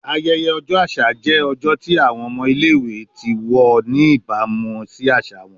Ayẹyẹ ọjọ aṣa jẹ ọjọ ti awọn ọmọ ile-iwe ti wọ ni ibamu si aṣa wọn